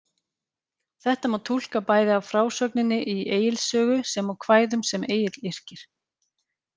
Þetta má túlka bæði af frásögninni í Egils sögu, sem og kvæðum sem Egill yrkir.